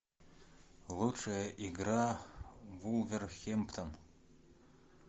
лучшая игра вулверхэмптон